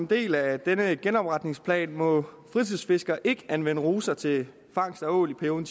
del af denne genopretningsplan må fritidsfiskere ikke anvende ruser til fangst af ål i perioden